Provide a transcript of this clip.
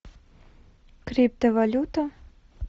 криптовалюта